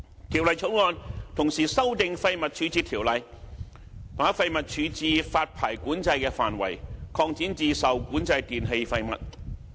《條例草案》同時修訂《廢物處置條例》，把廢物處置發牌管制的範圍擴展至受管制電器廢物。